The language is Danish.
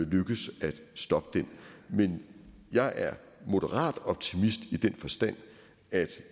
lykkes at stoppe den men jeg er moderat optimist i den forstand at